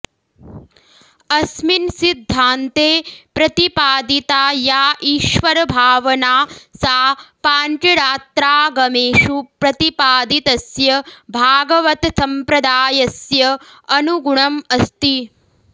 अस्मिन् सिद्धान्ते प्रतिपादिता या ईश्वरभावना सा पाञ्चरात्रागमेषु प्रतिपादितस्य भागवतसम्प्रदायस्य अनुगुणम् अस्ति